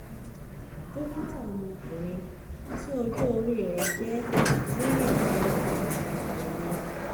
dókítà ọmọ ọkunrin tí ọjọ́ orí rẹ̀ jẹ́ mẹ́rìndínlọ́gbọ̀n ni mí